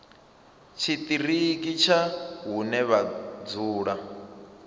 tshiṱiriki tsha hune vha dzula